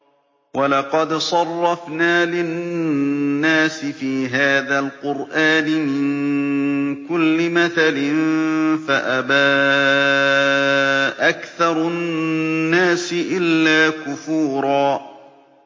وَلَقَدْ صَرَّفْنَا لِلنَّاسِ فِي هَٰذَا الْقُرْآنِ مِن كُلِّ مَثَلٍ فَأَبَىٰ أَكْثَرُ النَّاسِ إِلَّا كُفُورًا